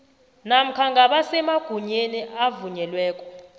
namkha ngabasemagunyeni abavunyelweko